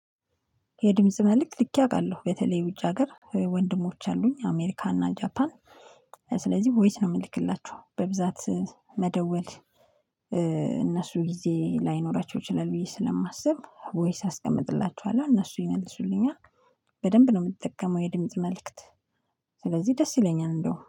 የድምጽ መልእክት ልኬ አውቃለሁ በተለይ ውጭ ሀገር ወንድሞች አሉኝ አሜሪካ እና ጃፓን ስለዚህ ቮይስ ነው የምልክላቸው በብዛት። መደወል እነሱ ጊዜ ላይኖራቸው ይችላል ብዬ ስለማስብ ቮይስ አስቀምጥላችኋለሁ እነሱ ይመልሱልኛል። በደንብ ነው የምትጠቀመው የድምጽ መልእክት? ስለዚህ ደስ ይለኛል እንደው